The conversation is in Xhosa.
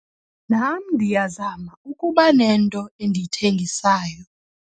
Nam ndiyazama ukuba nento endiyithengisayo.